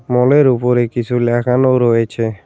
মল -এর উপরে কিছু লেখানো রয়েছে।